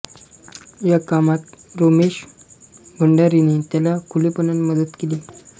या कामात रोमेश भंडारीने त्याला खुलेपणाने मदत केली